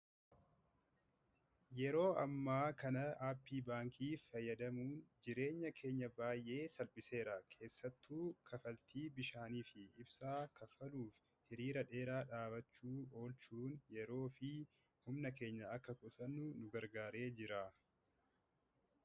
yeroo ammaa kana aappii baankiif fayyadamuu jireenya keenya baay'ee salphiseera keessattuu kafaltii bishaanii fi ibsaa kaffaluuf hiriira dheeraa dhaabachuu oolchuun yeroo fi humna keenya akka kutannu nu gargaaree jira